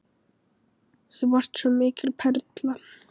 Þú varst svo mikil perla.